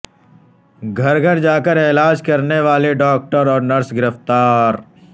گھر گھر جا کرعلاج کرنے والی ڈاکٹر اور نرس گرفتار